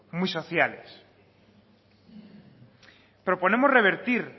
muy sociales proponemos revertir